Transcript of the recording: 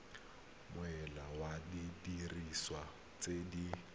molao wa didiriswa tse di